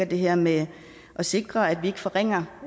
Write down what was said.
det her med at sikre at vi ikke forringer